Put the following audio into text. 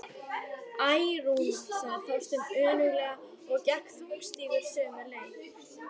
Æ, Rúna sagði Þorsteinn önuglega og gekk þungstígur sömu leið.